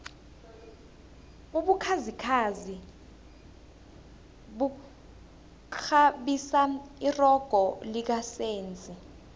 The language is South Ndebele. ubukhazikhazi bukghabisa irogo lika senzi